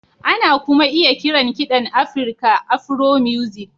Ana kuma iya kiran kiɗan Afirka Afro-music